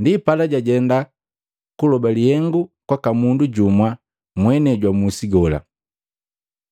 Ndipala jajenda kuloba lihengu kwaka mundu jumwa mwenei jwa musi gola,